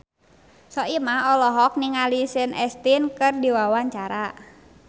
Soimah olohok ningali Sean Astin keur diwawancara